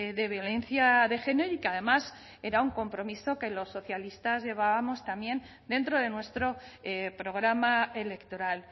de violencia de género y que además era un compromiso que los socialistas llevábamos también dentro de nuestro programa electoral